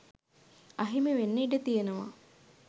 අහිමිවෙන්න ඉඩ තියෙනවා